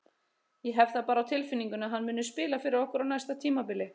Ég hef það bara á tilfinningunni að hann muni spila fyrir okkur á næsta tímabili.